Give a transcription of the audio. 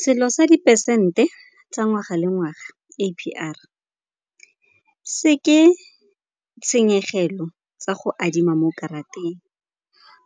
Selo sa dipesente tsa ngwaga le ngwaga, A_P_R, se ke tshenyegelo tsa go adima mo karateng.